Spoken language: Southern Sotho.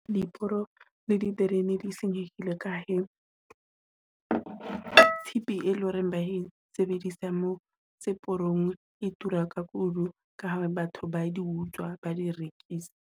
Diporo le diterene di senyehle ka he tshepe e leng hore ba e sebedisa moo seporong e tura ka kudu, ka ha batho ba di utswa, ba di rekisa.